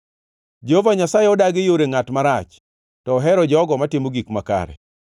Jehova Nyasaye odagi yore ngʼat marach, to ohero jogo matimo gik makare.